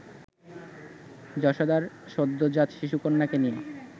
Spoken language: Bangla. যশোদার সদ্যজাত শিশুকন্যাকে নিয়ে